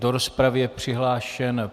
Do rozpravy je přihlášen...